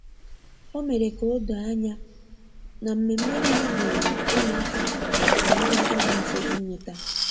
o mere ka odoo anya na mmeme niile diri ụmụaka na ndi agadi mfe inweta.